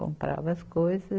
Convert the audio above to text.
Comprava as coisa